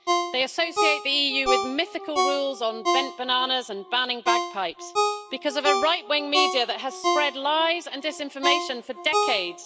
They associate the EU with mythical rules on bent bananas and banning bagpipes, because of a right wing media that has spread lies and disinformation for decades.